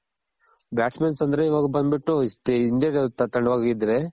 bat's man's ಅಂದ್ರೆ ಇವಾಗ ಬಂದ್ ಬಿಟ್ಟು ಹಿಂದೆ ತಳ್ಳೋವಾಗಿದ್ರೆ